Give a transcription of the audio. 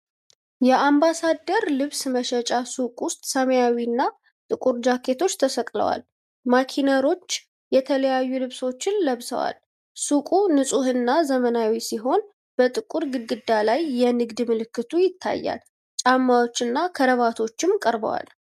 የአምባሳደር ልብስ መሸጫ ሱቅ ውስጥ ሰማያዊና ጥቁር ጃኬቶች ተሰቅለዋል። ማኔኪኖች የተለያዩ ልብሶችን ለብሰዋል። ሱቁ ንፁህና ዘመናዊ ሲሆን፣ በጥቁር ግድግዳ ላይ የንግድ ምልክቱ ይታያል። ጫማዎችና ክራቫቶችም ቀርበዋል።